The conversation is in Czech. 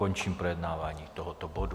Končím projednávání tohoto bodu.